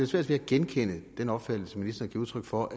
svært ved at genkende den opfattelse ministeren giver udtryk for